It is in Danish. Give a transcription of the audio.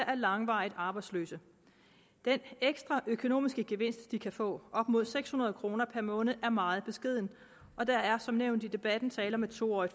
er langvarigt arbejdsløse den ekstra økonomiske gevinst de kan få op mod seks hundrede kroner per måned er meget beskeden og der er som nævnt i debatten tale om et to årig